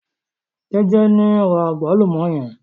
Jeje ni n ra àgbálùmọ́ yẹn.